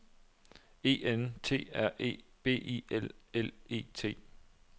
E N T R E B I L L E T